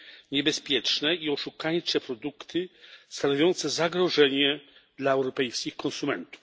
niebezpieczne i oszukańcze produkty stanowiące zagrożenie dla europejskich konsumentów.